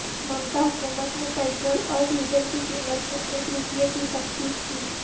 ممتا حکومت نے پٹرول اور ڈیژل کی قیمت میں ایک روپیہ کی تخفیف کی